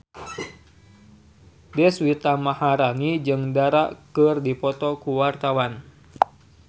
Deswita Maharani jeung Dara keur dipoto ku wartawan